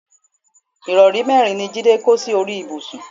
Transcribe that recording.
ìrọrí mẹ́rin ni Jídé kó sí orí ibùsùn